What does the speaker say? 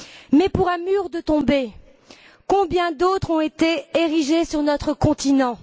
Mais pour un mur tombé, combien d'autres ont été érigés sur notre continent!